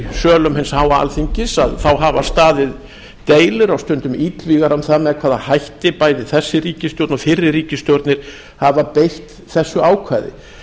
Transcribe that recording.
sölum hins háa alþingis hafa staðið deilur og stundum illvígar um það með hvaða hætti bæði þessi ríkisstjórn og fyrri ríkisstjórnir hafa beitt þessu ákvæði